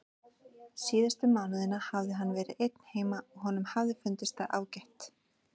Síðustu mánuðina hafði hann verið einn heima og honum hafði fundist það ágætt.